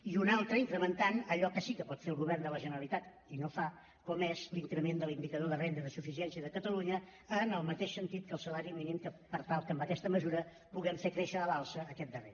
i una altra incrementant allò que sí que pot fer el govern de la generalitat i no fa com és l’increment de l’indicador de renda de suficiència de catalunya en el mateix sentit que el salari mínim per tal que amb aquesta mesura puguem fer créixer a l’alça aquest darrer